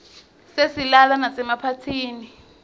siyislala masemaphathini